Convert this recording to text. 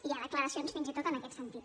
hi ha declaracions fins i tot en aquest sentit